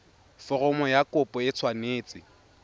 foromo ya kopo e tshwanetse